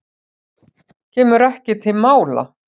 Kemur ekki til mála.